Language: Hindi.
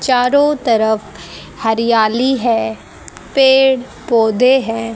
चारों तरफ हरियाली है पेड़ पौधे है।